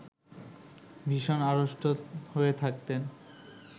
ভীষণ আড়ষ্ট হয়ে থাকতেন